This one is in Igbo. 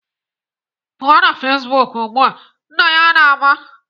"Pụọ na Facebook ugbu a!" Nna ya na-aba.